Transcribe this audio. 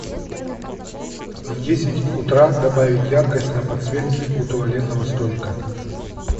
в десять утра добавить яркость на подсветке у туалетного столика